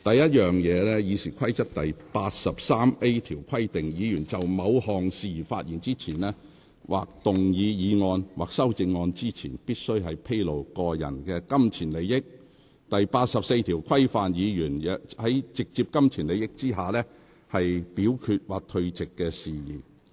《議事規則》第 83A 條只規定議員就某項事宜發言前，或動議議案或修正案前，須披露個人金錢利益；第84條則規範議員在有直接金錢利益的情況下表決或退席的事宜。